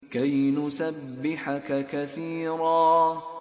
كَيْ نُسَبِّحَكَ كَثِيرًا